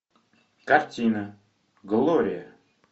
картина глория